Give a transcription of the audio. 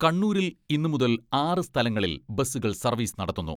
കണ്ണൂരിൽ ഇന്ന് മുതൽ ആറ് സ്ഥലങ്ങളിൽ ബസുകൾ സർവ്വീസ് നടത്തുന്നു.